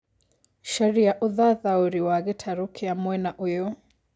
Caria ũthathaũri wa gĩtarũ Kĩa mwena ũyũ